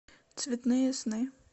цветные сны